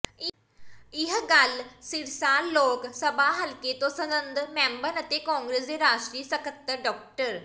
ਇਹ ਗੱਲ ਸਿਰਸਾ ਲੋਕ ਸਭਾ ਹਲਕੇ ਤੋਂ ਸੰਸਦ ਮੈਂਬਰ ਅਤੇ ਕਾਂਗਰਸ ਦੇ ਰਾਸ਼ਟਰੀ ਸਕੱਤਰ ਡਾ